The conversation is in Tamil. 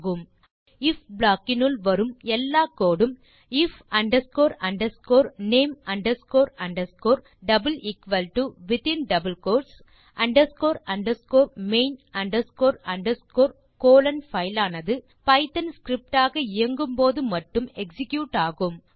ஆகவே ஐஎஃப் ப்ளாக் க்கினுள் வரும் எல்லா கோடு உம் if underscore underscore name underscore underscore within double quotes underscore underscore main underscore underscore colon file ஆனது பைத்தோன் ஸ்கிரிப்ட் ஆக இயங்கும்போது மட்டும் எக்ஸிக்யூட் ஆகும்